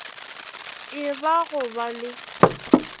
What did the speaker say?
e ba go ba le